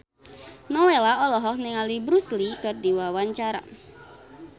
Nowela olohok ningali Bruce Lee keur diwawancara